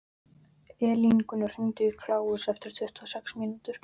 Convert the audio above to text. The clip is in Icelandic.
Elíngunnur, hringdu í Kláus eftir tuttugu og sex mínútur.